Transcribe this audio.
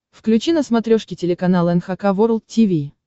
включи на смотрешке телеканал эн эйч кей волд ти ви